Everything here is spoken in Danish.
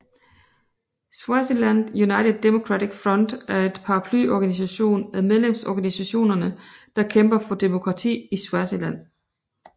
Swaziland United Democratic Front er en paraplyorganisation af medlemsorganisationer der kæmper for demokrati i Swaziland